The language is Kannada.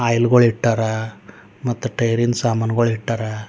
ಆಯಿಲ್ ಗಳು ಇಟ್ಟಾರ ಮತ್ ಟೈರಿನ್ ಸಾಮಾನುಗಳು ಇಟ್ಟಾರ.